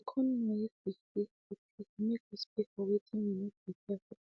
we come know if we fill late e go make us pay for wetin we no prepare for